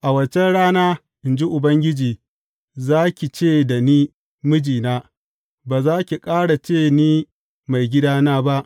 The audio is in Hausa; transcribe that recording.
A waccan rana, in ji Ubangiji, za ki ce da ni mijina’; ba za ki ƙara ce ni maigidana’ ba.